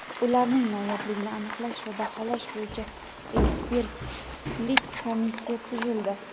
ularning noyobligini aniqlash va baholash bo‘yicha ekspertlik komissiya tuzildi.